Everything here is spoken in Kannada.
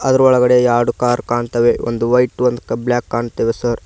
ಅದರ ಒಳಗಡೆ ಎರಡು ಕಾರ್ ಕಾಣ್ತ್ತವೆ ಒಂದು ವೈಟ್ ಒಂದು ಕ ಬ್ಲಾಕ್ ಕಾಣ್ತವೆ ಸರ್ .